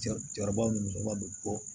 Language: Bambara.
Jaaba musaka be bɔ